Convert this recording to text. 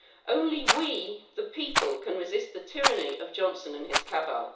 Only we, the people, can resist the tyranny of Johnson and his cabal.